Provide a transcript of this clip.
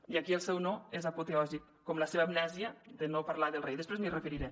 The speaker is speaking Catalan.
i aquí el seu no és apoteòsic com la seva amnèsia de no parlar del rei després m’hi referiré